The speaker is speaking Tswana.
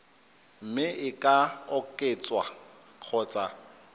mme e ka oketswa kgotsa